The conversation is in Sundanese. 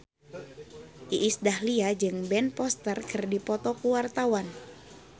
Iis Dahlia jeung Ben Foster keur dipoto ku wartawan